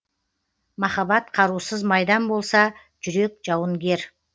махаббат қарусыз майдан болса жүрек жауынгер